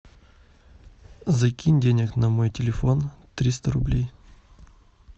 закинь денег на мой телефон триста рублей